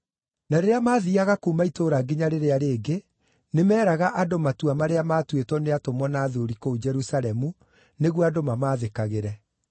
Na rĩrĩa maathiiaga kuuma itũũra nginya rĩrĩa rĩngĩ, nĩmeeraga andũ matua marĩa maatuĩtwo nĩ atũmwo na athuuri kũu Jerusalemu nĩguo andũ mamaathĩkagĩre.